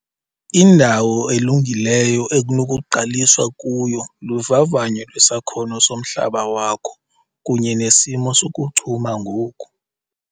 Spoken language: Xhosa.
Indawo elungileyo ekunokuqaliswa kuyo luvavanyo lwesakhono somhlaba wakho kunye nesimo sokuchuma ngoku.